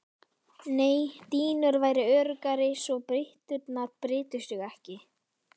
Nei dýnur væru öruggari svo bytturnar brytu sig ekki.